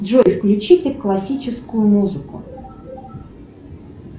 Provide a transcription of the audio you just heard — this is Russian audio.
джой включите классическую музыку